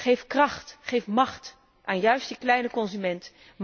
Geef kracht, geef macht aan die kleine consument.